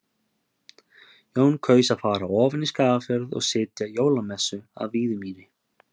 Jón kaus að fara ofan í Skagafjörð og sitja jólamessu að Víðimýri.